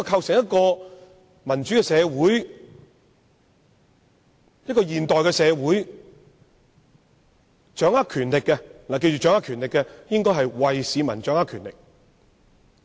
在一個民主、現代的社會，掌握權力的人無論是要除暴安良還是拘捕賊人，都是為市民執掌權力。